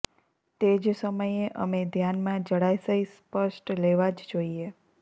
તે જ સમયે અમે ધ્યાનમાં જળાશય સ્પષ્ટ લેવા જ જોઈએ